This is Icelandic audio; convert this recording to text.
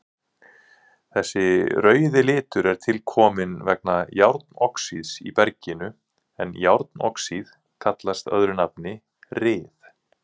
Þessi rauði litur er tilkominn vegna járnoxíðs í berginu en járnoxíð kallast öðru nafni ryð.